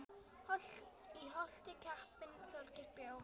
Í Holti kappinn Þorgeir bjó.